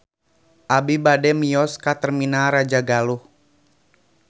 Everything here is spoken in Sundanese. Abi bade mios ka Terminal Rajagaluh